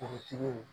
Forotigiw